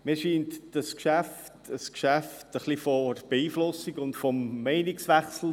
Dieses Geschäft ist ziemlich beeinflusst von einem Meinungswechsel.